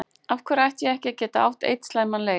Af hverju ætti ég ekki að geta átt einn slæman leik?